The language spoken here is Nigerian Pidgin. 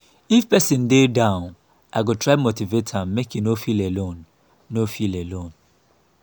if person dey feel down i go try motivate am make e no feel alone. no feel alone.